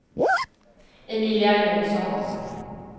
Emilia Johnsson